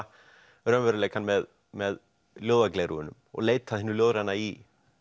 raunveruleikann með með og leita að hinu ljóðræna í